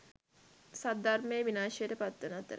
සද්ධර්මය විනාශයට පත්වන අතර